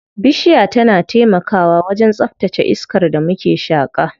Bishiya tana taimakawa wajen tsaftace iskar da muke shaƙa.